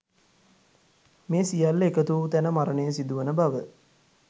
මේ සියල්ල එකතු වූ තැන මරණය සිදුවන බව